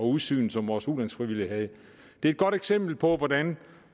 udsyn som vores ulandsfrivillige havde det er et godt eksempel på hvordan